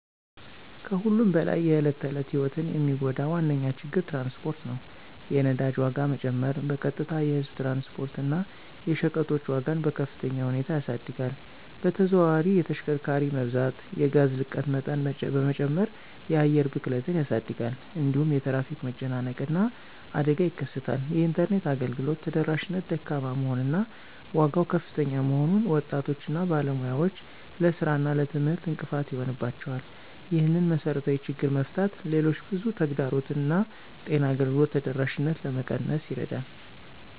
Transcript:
ከሁሉም በላይ የዕለት ተዕለት ሕይወትን የሚጎዳ ዋነኛ ችግር ትራንስፖርት ነው። የነዳጅ ዋጋ መጨመር በቀጥታ የህዝብ ትራንስፖርት እና የሸቀጦች ዋጋን በከፍተኛ ሁኔታ ያሳድጋል። በተዘዋዋሪ የተሽከርካሪ መብዛት የጋዝ ልቀት መጠን በመጨመር የአየር ብክለትን ያሳድጋል። እንዲሁም የትራፊክ መጨናነቅ እና አደጋ ይከሰታል። የኢንተርኔት አገልግሎት ተደራሽነት ደካማ መሆን እና ዋጋው ከፍተኛ መሆኑን ወጣቶች እና ባለሙያዎች ለሥራ እና ለትምህርት እንቅፋት ይሆንባቸዋል። ይህንን መሰረታዊ ችግር መፍታት ሌሎች ብዙ ተግዳሮቶችን እንደ ጤና አገልግሎት ተደራሽነት ለመቀነስ ይረዳል።